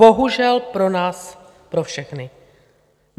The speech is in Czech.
Bohužel pro nás pro všechny.